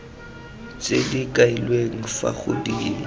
tse di kailweng fa godimo